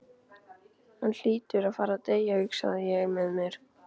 Hann hlýtur að fara að deyja, hugsaði ég með mér.